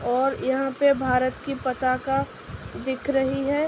और यहाँ पे भारत की पताका दिख रही है।